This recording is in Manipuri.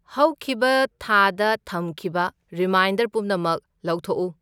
ꯍꯧꯈꯤꯕ ꯊꯥꯗ ꯊꯝꯈꯤꯕ ꯔꯤꯃꯥꯏꯟꯗꯔ ꯄꯨꯝꯅꯃꯛ ꯂꯧꯊꯣꯛꯎ꯫